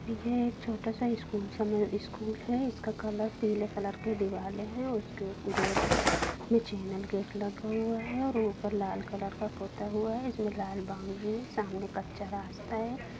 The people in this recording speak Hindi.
यह एक छोटा सा स्कूल समज स्कूल है इसका कलर-- पीले कलर के दीवाले हैं उसके गेट में चैनल गेट लगा हुआ है और ऊपर लाल कलर का पोता हुआ है इसमें लाल बाउंड्री है सामने कच्चा रास्ता है।